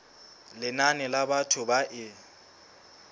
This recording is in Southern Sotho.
lenane la batho ba e